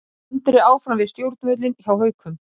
Andri áfram við stjórnvölinn hjá Haukum